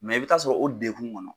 i bɛ taa sɔrɔ o degun kɔnɔ